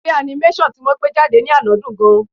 Eré animation ti wọ́n gbé jáde ní àná dùn-ún gan-an.